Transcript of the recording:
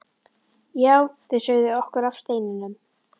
Já, þau sögðu okkur af steininum.